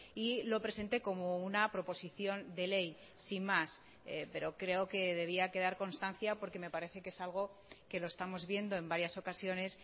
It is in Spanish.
y lo presente como una proposición de ley sin más pero creo que debía quedar constancia porque me parece que es algo que lo estamos viendo en varias ocasiones